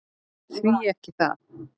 Því ekki það?